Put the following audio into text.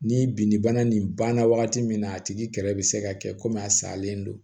Ni bin bana nin banna wagati min na a tigi kɛrɛ bɛ se ka kɛ komi a salen don